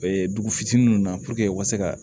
dugu fitininw na u ka se ka